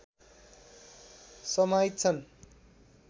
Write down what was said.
समाहित छन्